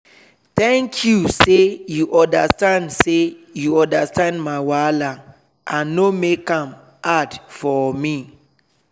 thank you say you understand say you understand my wahala and no make am hard for me.